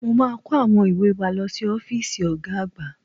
Mo máa kó àwọn ìwé wa lọ sí ọ́fíìsì Ọ̀ga àgbà